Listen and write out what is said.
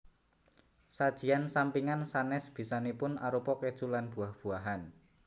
Sajian sampingan sanes bisanipun arupa keju lan buah buahan